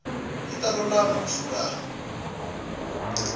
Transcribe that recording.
yi ta lulama ku suka